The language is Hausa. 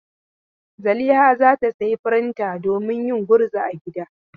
Zaliha za ta sayi firinta domin yin gurza a gida.